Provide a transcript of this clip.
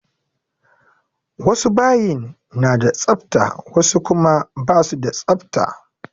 Wasu bayin na da tsafta wasu kuma ba su da tsafta.